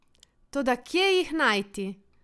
Toda kje jih najti?